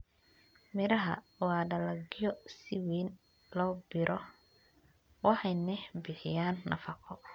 Miraha waa dalagyo si weyn loo beero waxayna bixiyaan nafaqo.